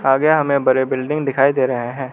आगे में हमे बड़े बिल्डिंग दिखाई दे रहे हैं।